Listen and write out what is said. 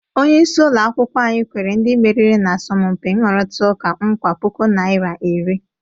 Onyeisi ụlọ akwukwọ anyị kwere ndị meriri n'asọmụmpi nrụritaụka nkwa puku naịra iri.